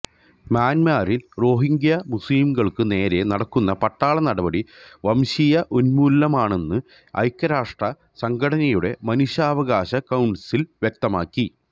മ്യാന്മറിൽ രോഹിൻഗ്യ മുസ്ലിംകൾക്കു നേരേ നടക്കുന്ന പട്ടാള നടപടി വംശീയ ഉന്മൂലനമാണെന്ന് ഐക്യരാഷ്ട്ര സംഘടനയുടെ മനുഷ്യാവകാശ കൌൺസിൽ വ്യക്തമാക്കി